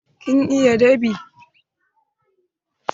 Kin iya dab'i?